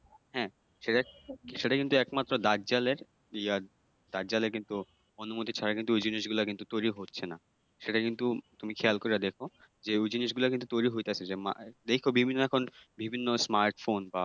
হ্যাঁ সেটা সেটা কিন্তু একমাত্র দাজ্জালের ইয়ে দাজ্জালের কিন্তু অনুমতি ছাড়া কিন্তু ওই জিনিসগুলো কিন্তু তৈরি হচ্ছে না, সেটা কিন্তু তুমি খেয়াল কইরা দেখ, যে ওই জিনিসগুলো কিন্তু তৈরি হইতাছে যে দেইখ বিভিন্ন এখন বিভিন্ন smart phone বা